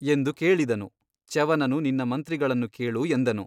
ಎಂದು ಕೇಳಿದನು ಚ್ಯವನನು ನಿನ್ನ ಮಂತ್ರಿಗಳನ್ನು ಕೇಳು ಎಂದನು.